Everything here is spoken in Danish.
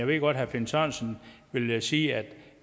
ved godt at herre finn sørensen vil sige at